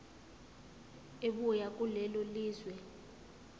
ebuya kulelo lizwe